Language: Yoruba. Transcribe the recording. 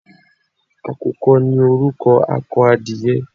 Àkùkọ ni orúkọ akọ adìyẹ.